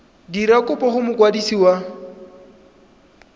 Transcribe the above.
dira kopo go mokwadisi wa